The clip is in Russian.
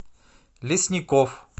лесников